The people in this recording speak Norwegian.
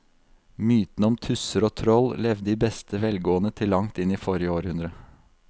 Mytene om tusser og troll levde i beste velgående til langt inn i forrige århundre.